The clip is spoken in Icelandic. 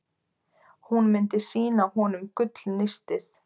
Hún myndi sýna honum gullnistið.